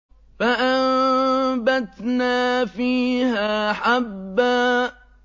فَأَنبَتْنَا فِيهَا حَبًّا